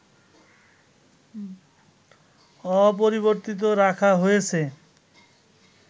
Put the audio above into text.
অপরিবর্তিত রাখা হয়েছে